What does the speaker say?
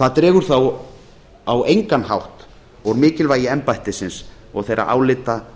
það dregur þó á engan hátt úr mikilvægi embættisins og þeirra álita